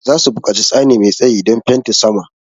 Za su buƙaci tsani mai tsayi don fenti saman.